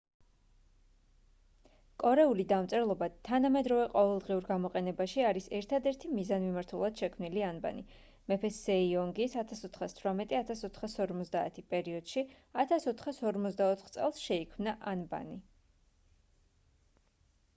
კორეული დამწერლობა თანამედროვე ყოველდღიურ გამოყენებაში არის ერთადერთი მიზანმიმართულად შექმნილი ანბანი. მეფე სეიონგის 1418-1450 პერიოდში 1444 წელს შეიქმნა ანბანი